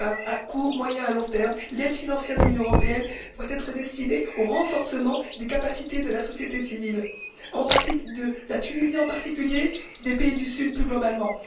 À court, moyen et long termes, l'aide financière de l'Union européenne doit être destinée au renforcement des capacités de la société civile de la Tunisie, en particulier, et des pays du sud, plus globalement.